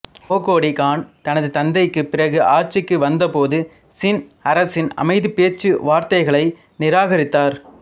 ஒகோடி Khan தனது தந்தைக்கு பிறகு ஆட்சிக்கு வந்த போது சின் அரசின் அமைதிப் பேச்சு வார்த்தைகளை நிராகரித்தார்